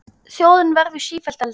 Þjóðin verður sífellt eldri.